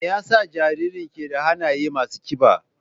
Me yasa jaririn ke da hannaye masu kiba?